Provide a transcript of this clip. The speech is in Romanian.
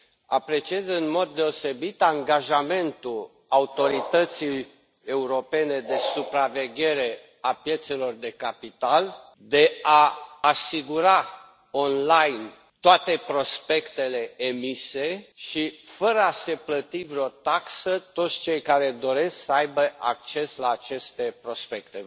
Apreciez în mod deosebit angajamentul Autorității europene de supraveghere a piețelor de capital de a asigura online toate prospectele emise și fără a se plăti vreo taxă, pentru toți cei care doresc să aibă acces la aceste prospecte.